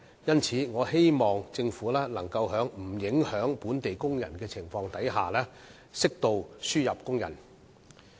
因此，我希望政府能夠在不影響本地工人的情況下，適度地輸入工人。